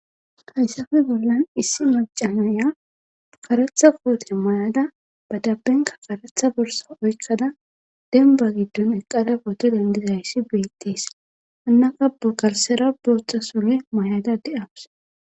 Hayssappe bolan issi maca nayiya karetha koote mayada ba dalenkka karetha borssa oykkada dembba gidon eqqada poto dendidayssi beetees. hinakka be garssera boththa sure mayda de'awus.